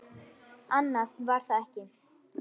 Annað var það ekki.